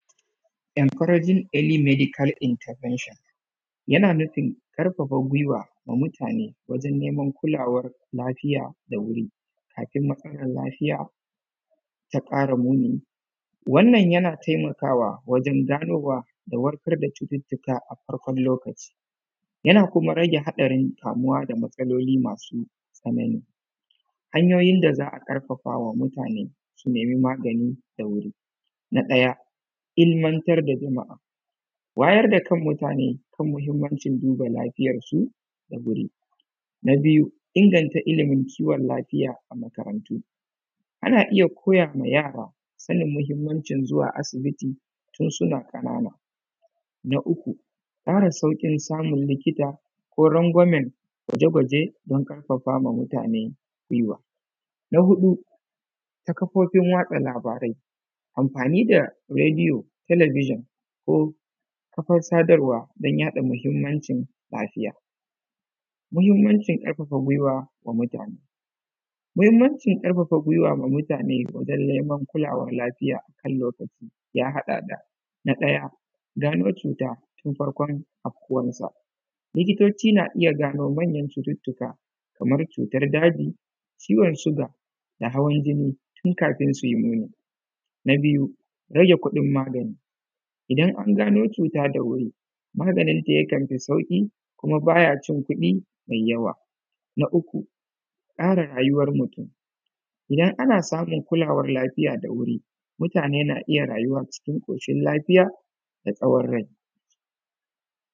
Encouraging early medical intervention, yana nufin karfafa giwa wa mutane wajen neman kulawan lafoya da wuri kafin rashin lafiya taƙara moni wannan yana taimakawa wajen ganowa da warkar da cututtuka akan lokaci, yana kuma rage haɗarin kamuwa da maotsaloli masu tsanani hanyoyin da za a ƙarfafa ma mutane su nemi magani da wuri, na ɗaya ilmantar da jama’a, wayar da kan mutane kan duba lafiyan jiki da wuri na biyu inganta ilimin kiwon lafiya a makarantu, ana iya koya ma yara sanin muhinmancin zuwa asibiti tun suna ƙanan na fara sarƙin samun likita ko rangwamen gwaje-gwaje don ƙarfafa wa mutane giwa na huɗu ta kafofin watsa labarai anfani da redio talabijin ko kafan sadarwa da mahinmancin lafiya muhinmancin ƙarfafa giwa wa mutane, muhinmancin ƙarfafa giwa wa mutane don neman kulawan lafiya yan haɗa da na ɗaya gano cuta tun farkon awkuwansa likitoci na iya gano manyan cututtuka kamar cutan daji ciwon siga da hawan jini tun kafin suyi muni na biyu rage kuɗin magani idan angano cuta da wuri maganinta yakanfi sauƙi kuma bayacin kuɗi me yawa kare rayuwan mutun idan ana samun kulawan lafiya da wuri mutane na iya rayuwa cikin ƙushin lafiya da tsawan rai.